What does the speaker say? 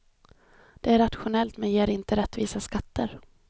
Det är rationellt men ger inte rättvisa skatter.